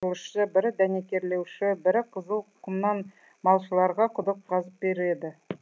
құрылысшы бірі дәнекерлеуші бірі қызыл құмнан малшыларға құдық қазып береді